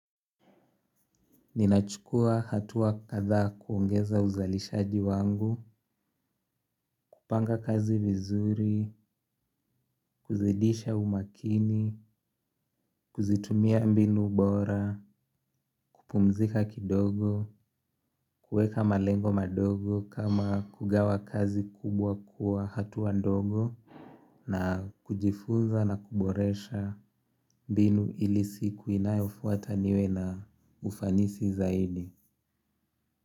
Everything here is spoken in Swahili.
Ninachukua hatua kadhaa kuongeza uzalishaji wangu. Kupanga kazi vizuri kuzidisha umakini. Kuzitumia mbinu bora, kupumzika kidogo. Kuweka malengo madogo kama kugawa kazi kubwa kwa hatua ndogo. Na kujifunza na kuboresha mbinu ili siku inayofuata niwe na ufanisi zaidi.